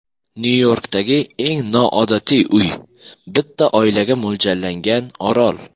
Nyu-Yorkdagi eng noodatiy uy: bitta oilaga mo‘ljallangan orol .